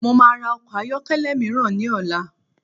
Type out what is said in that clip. Mo maa ra ọkọ̀ ayọ́kẹ́lẹ́ míràn ní ọ̀la